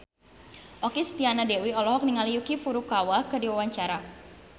Okky Setiana Dewi olohok ningali Yuki Furukawa keur diwawancara